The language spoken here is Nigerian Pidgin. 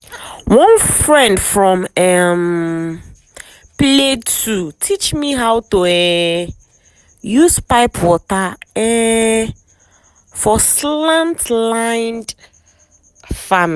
one friend from um plateau teach me how to um use pipe water um for slant land farming.